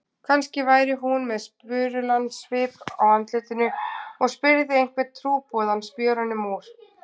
Kannski væri hún með spurulan svip á andlitinu og spyrði einhvern trúboðann spjörunum úr.